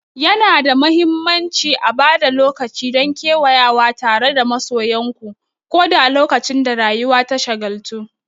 Yana da mahimmanci a ba da lokaci don kewayawa tare da masoyanku, ko da lokacin da rayuwa ta shagaltu.